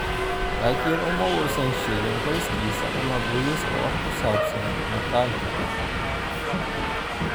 Laakin uma uusan sheegin qoyskiisa ama booliiska wax ku saabsan muuqaalka.